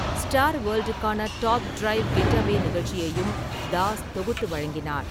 Star வேல்டுக்கான top drive - getaway நிகழ்ச்சியையும் தாஸ் தொகுத்து வழங்கினார்.